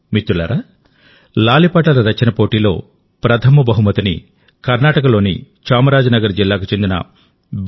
మిత్రులారాలాలిపాటల రచన పోటీలో ప్రథమ బహుమతిని కర్ణాటకలోని చామరాజనగర్ జిల్లాకు చెందిన బి